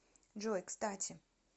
джой кстати